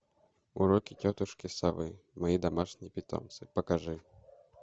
уроки тетушки совы мои домашние питомцы покажи